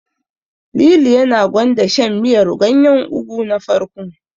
Lili yana gwanda shan miyar ganyen Ugu na farko.